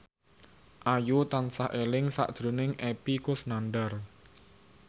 Ayu tansah eling sakjroning Epy Kusnandar